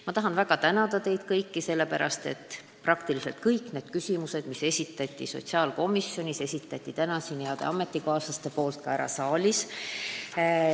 Ma tahan väga tänada teid kõiki, head ametikaaslased, sellepärast et peaaegu kõik need küsimused, mis esitati sotsiaalkomisjonis, esitati täna ka siin saalis.